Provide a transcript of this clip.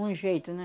Um jeito, né?